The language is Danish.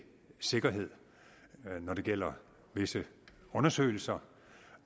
sikkerhed når det gælder visse undersøgelser